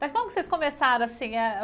Mas como que vocês começaram assim a?